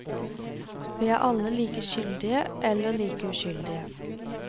Vi er alle like skyldige, eller like uskyldige.